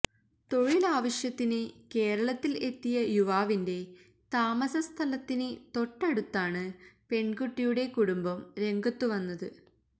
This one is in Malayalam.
തൊഴിലാവശ്യത്തിന് കേരളത്തില് എത്തിയ യുവാവിന്റെ താമസസ്ഥലത്തിന് തൊട്ടടുത്താണ് പെണ്കുട്ടിയുടെ കുടുംബം രംഗത്തുവന്നത്